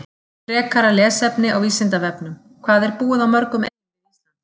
Frekara lesefni á Vísindavefnum: Hvað er búið á mörgum eyjum við Ísland?